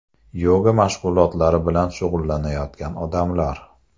Yoga mashg‘ulotlari bilan shug‘ullanayotgan odamlar.